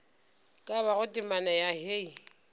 ka bago temana ya hei